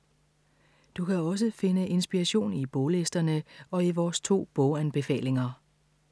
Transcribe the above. Du kan også finde inspiration i boglisterne og i vores to boganbefalinger.